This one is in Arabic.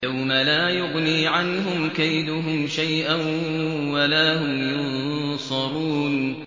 يَوْمَ لَا يُغْنِي عَنْهُمْ كَيْدُهُمْ شَيْئًا وَلَا هُمْ يُنصَرُونَ